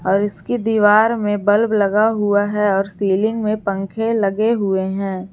और इसकी दीवार में बल्ब लगा हुआ है और सिलिंग में पंखे लगे हुए हैं।